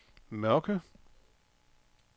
Mørke